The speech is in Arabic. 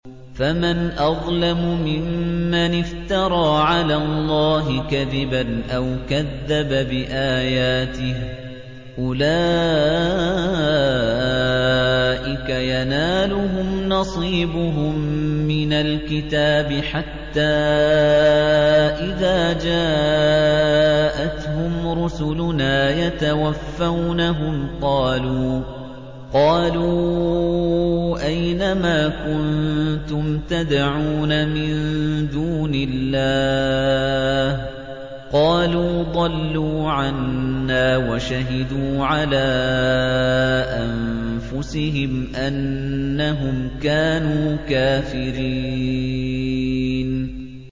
فَمَنْ أَظْلَمُ مِمَّنِ افْتَرَىٰ عَلَى اللَّهِ كَذِبًا أَوْ كَذَّبَ بِآيَاتِهِ ۚ أُولَٰئِكَ يَنَالُهُمْ نَصِيبُهُم مِّنَ الْكِتَابِ ۖ حَتَّىٰ إِذَا جَاءَتْهُمْ رُسُلُنَا يَتَوَفَّوْنَهُمْ قَالُوا أَيْنَ مَا كُنتُمْ تَدْعُونَ مِن دُونِ اللَّهِ ۖ قَالُوا ضَلُّوا عَنَّا وَشَهِدُوا عَلَىٰ أَنفُسِهِمْ أَنَّهُمْ كَانُوا كَافِرِينَ